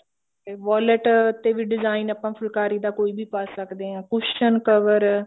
ਤੇ violet ਤੇ ਵੀ design ਆਪਾਂ ਫੁਲਕਾਰੀ ਦਾ ਆਪਾ ਕੋਈ ਵੀ ਪਾ ਸਕਦੇ ਹਾਂ cushion cover